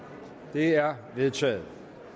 det er vedtaget